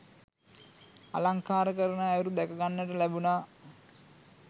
අලංකාර කරන අයුරු දැක ගන්නට ලැබුණා.